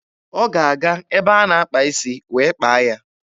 Ọ ga-aga ebe a na-akpa isi wee kpaa ya.